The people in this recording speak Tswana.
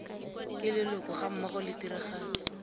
ke leloko gammogo le tiragatso